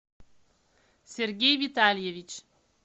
сергей витальевич